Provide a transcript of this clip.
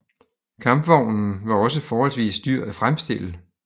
Kampvognen var også forholdsvis dyr at fremstille